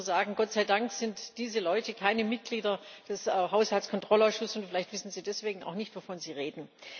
Ich kann nur sagen Gott sei Dank sind diese Leute keine Mitglieder des Haushaltskontrollausschusses, und vielleicht wissen sie deswegen auch nicht, wovon sie reden.